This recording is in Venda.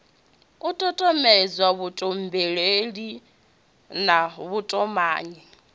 u tutuwedza vhutumbuli na vhutumanyi